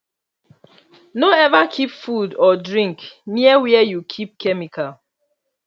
no ever keep food or drink near where you keep chemical